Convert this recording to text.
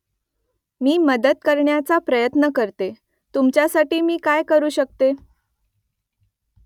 मी मदत करण्याचा प्रयत्न करते . तुमच्यासाठी मी काय करू शकते ?